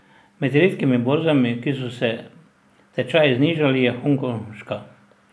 Med redkimi borzami, kjer so se tečaji znižali, je hongkonška.